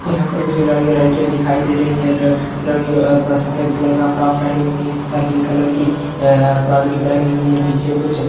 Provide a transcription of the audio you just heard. यहाँ पे कुछ लड़के लड़कियाँ दिखाई दे रही हैं ल अ लड़की अ सफ़ेद कलर का फ्रॉक पेहनी हुई तथा पिंक कलर की अ फ्रॉक भी पेहनी हुई है पीछे कुछ --